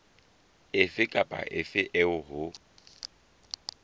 efe kapa efe eo ho